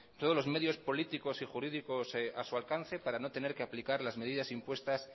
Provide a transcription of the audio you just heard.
todos los medios políticos y jurídicos a su alcance para no tener que aplicar las medidas impuestas